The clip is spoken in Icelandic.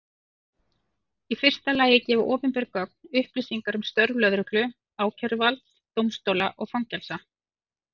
Í fyrsta lagi gefa opinber gögn upplýsingar um störf lögreglu, ákæruvalds, dómstóla og fangelsa.